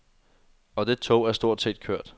Og det tog er stort set kørt.